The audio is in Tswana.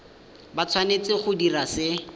ba tshwanetse go dira se